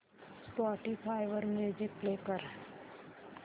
Spotify वर music play कर